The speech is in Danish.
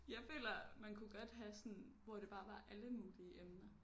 Jeg føler man kunne godt have sådan hvor det bare var alle mulige emner